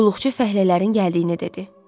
Qulluqçu fəhlələrin gəldiyini dedi.